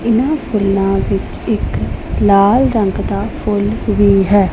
ਇਹਨਾਂ ਫੁੱਲਾਂ ਵਿਚ ਇਕ ਲਾਲ ਰੰਗ ਦਾ ਫੁੱਲ ਵੀ ਹੈ।